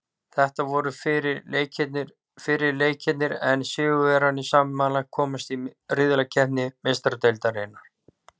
Þetta voru fyrri leikirnir en sigurvegararnir samanlagt komast í riðlakeppni Meistaradeildarinnar.